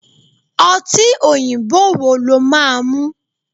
Ọtí òyìnbó wo lo máa ń mu?